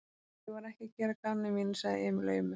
Ég var ekki að gera að gamni mínu, sagði Emil aumur.